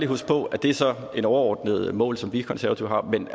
huske på at det så er et overordnet mål som vi i konservative har men